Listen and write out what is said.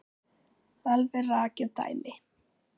Alveg rakið dæmi.